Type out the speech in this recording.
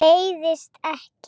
Leiðist ekki.